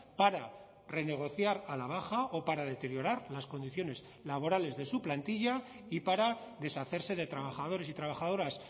para renegociar a la baja o para deteriorar las condiciones laborales de su plantilla y para deshacerse de trabajadores y trabajadoras